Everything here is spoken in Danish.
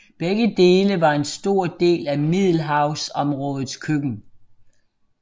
Begge dele var en stor del af middelhavområdets køkken